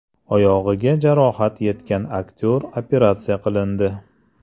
Oyog‘iga jarohat yetgan aktyor operatsiya qilindi.